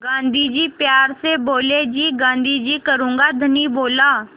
गाँधी जी प्यार से बोले जी गाँधी जी करूँगा धनी बोला